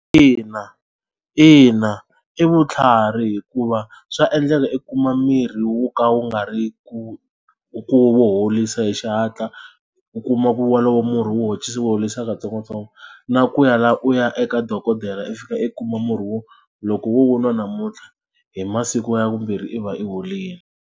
Ina, ina i vutlhari hikuva swa endleka i kuma mirhi wo ka wu nga ri ku ku horisa hi xihatla u kuma ku walowo murhi wo wu horisa katsongokatsongo na ku ya laha u ya eka dokodela i fika i kuma murhi wo loko wo nwa namuntlha hi masiku ya vumbirhi i va i horile.